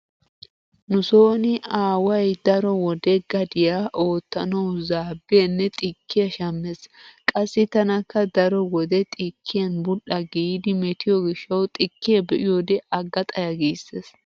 Nu sooni aaway daro wode gadiya oottanawu zaabbiyanne xikkiya shammees. Qassi tanakka daro wode xikkiyan bul"a giidi metiyo gishshawu xikkiya be'yode agga xaya giissees.